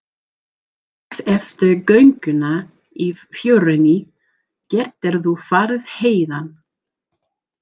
Strax eftir gönguna í fjörunni geturðu farið héðan.